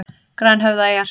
Grænhöfðaeyjar